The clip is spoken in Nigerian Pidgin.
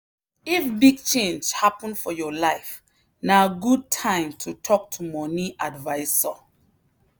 if big change happen for your life na good time to talk to money advisor.